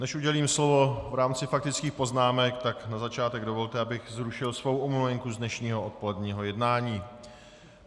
Než udělím slovo v rámci faktických poznámek, tak na začátek dovolte, abych zrušil svou omluvenku z dnešního odpoledního jednání.